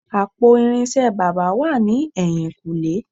Àpò irinṣẹ́ baba wà ní ẹ̀yìn-kùlé